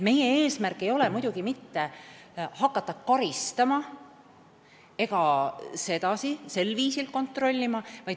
Meie eesmärk ei ole muidugi hakata karistama, sel viisil kontrollima.